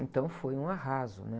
Então foi um arraso, né?